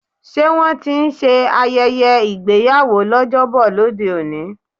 Ṣé wón ti ń ṣe ayẹyẹ ìgbéyàwó l'ojobo lóde òní?